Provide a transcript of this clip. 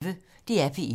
DR P1